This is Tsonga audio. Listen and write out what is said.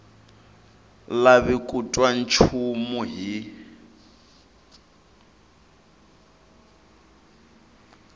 lavi ku twa nchumu hi